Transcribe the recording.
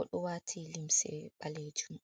Oɗo wati limse ɓalejum.